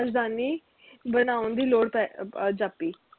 ਰਾਜਧਾਨੀ ਬਣੌਨ ਦੀ ਲੋੜ ਪੈ ਅਹ ਜਾਪੀ